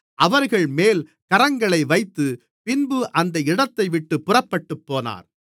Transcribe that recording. அவர்கள்மேல் கரங்களை வைத்து பின்பு அந்த இடத்தைவிட்டுப் புறப்பட்டுப்போனார்